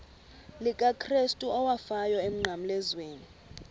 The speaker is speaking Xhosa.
likakrestu owafayo emnqamlezweni